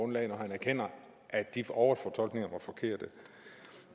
når han erkender at de overfortolkninger var forkerte